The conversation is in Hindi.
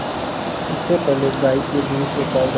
इससे पहले गाय के दूध से पावडर